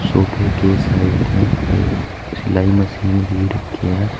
सोफे के साइड में एक सिलाई मशीन भी रखी है।